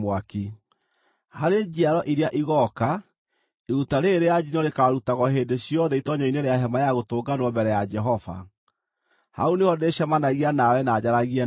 “Harĩ njiaro iria igooka, iruta rĩĩrĩ rĩa njino rĩkaarutagwo hĩndĩ ciothe itoonyero-inĩ rĩa Hema-ya-Gũtũnganwo mbere ya Jehova. Hau nĩho ndĩĩcemanagia nawe na njaragie nawe;